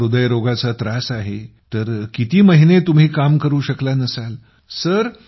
तुम्हाला हृदयरोगाचा त्रास आहे तर किती महिने तुम्ही काम करू शकला नसाल